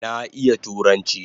Na iya turanchi